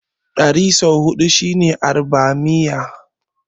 Ɗari sau huɗu shine Arbamiyya.